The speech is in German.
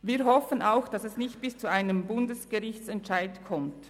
Wir hoffen auch, dass es nicht bis zu einem Bundesgerichtsentscheid kommt.